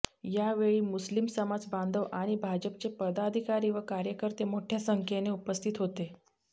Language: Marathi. यावेळी मुस्लीम समाज बांधव आणि भाजपचे पदाधिकारी व कार्यकर्ते मोठ्या संखेने उपस्थित होते